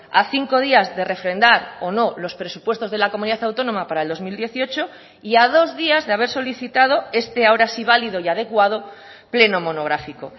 a cinco días de refrendar o no los presupuestos de la comunidad autónoma para el dos mil dieciocho y a dos días de haber solicitado este ahora sí válido y adecuado pleno monográfico